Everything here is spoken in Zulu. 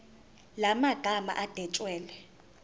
la magama adwetshelwe